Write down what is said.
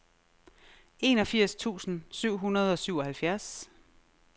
enogfirs tusind syv hundrede og syvoghalvfjerds